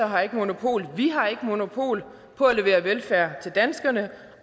har ikke monopol vi har ikke monopol på at levere velfærd til danskerne